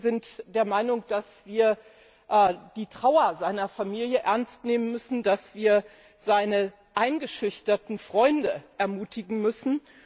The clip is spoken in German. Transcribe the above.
Wir sind der Meinung, dass wir die Trauer seiner Familie ernst nehmen müssen, dass wir seine eingeschüchterten Freunde ermutigen müssen.